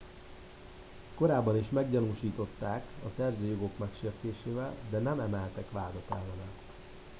korábban is meggyanúsították a szerzői jogok megsértésével de nem emeltek vádat ellene